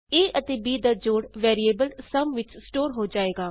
a ਅਤੇ b ਦਾ ਜੋੜ ਵੈਰੀਏਬਲ ਸੁਮ ਵਿਚ ਸਟੋਰ ਹੋ ਜਾਏਗਾ